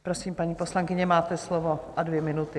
Prosím, paní poslankyně, máte slovo a dvě minuty.